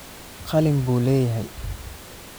Qalin buu leeyahay